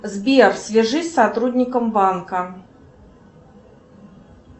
сбер свяжись с сотрудником банка